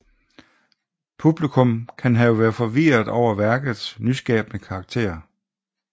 Publikum kan have været forvirret over værkets nyskabende karakter